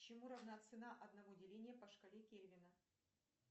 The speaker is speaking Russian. чему равна цена одного деления по шкале кельвина